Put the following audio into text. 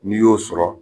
N'i y'o sɔrɔ